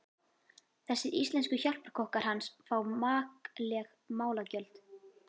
Þessir íslensku hjálparkokkar hans fá makleg málagjöld.